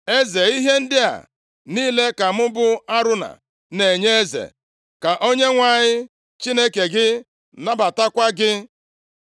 Eze, ihe ndị a niile ka mụ bụ Arauna na-enye eze, ka Onyenwe anyị Chineke gị nabatakwa gị.”